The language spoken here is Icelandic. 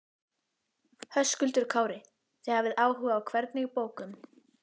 Höskuldur Kári: Þið hafið áhuga á hvernig bókum?